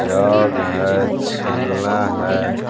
जग है छिलना है।